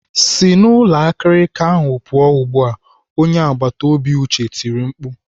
"Si n'ụlọ akirika ahụ pụọ ugbu a!" Onye agbataobi Uche tirii mkpu.